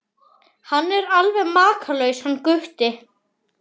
Hann er alveg makalaus hann Gutti.